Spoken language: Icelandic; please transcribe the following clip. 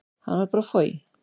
Hann varð bara foj.